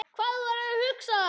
Hvað þú værir að hugsa.